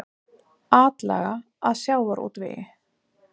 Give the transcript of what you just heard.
Atlaga að sjávarútvegi